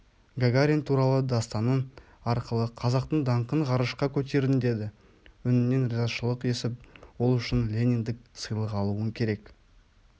гагарин туралы дастаның арқылы қазақтың даңқын ғарышқа көтердің деді үнінен ризашылық есіп ол үшін лениндік сыйлық алуың керек